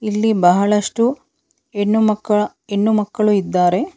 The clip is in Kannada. ಈ ಬಹಳಷ್ಟು ಹೆಣ್ಣು ಮಕ್ಕಳ ಹೆಣ್ಣುಮಕ್ಕಳು ಇದ್ದಾರೆ.